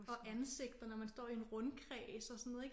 Og ansigter når man står i en rundkreds og sådan noget ik